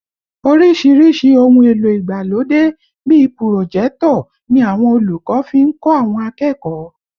Oríṣiríṣi ohun èlò ìgbàlódé bíi pùròjẹ́tọ̀ ni àwọn olùkọ́ fi ń kọ́ àwọn akẹ́kọ̀ọ́